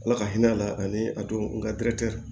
Ala ka hinɛ a la ani a don n nka